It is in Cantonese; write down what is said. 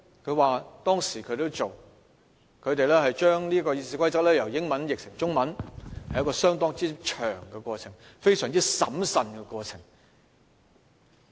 他說當時他們把《議事規則》由英文翻譯成中文，是一個相當漫長及審慎的過程。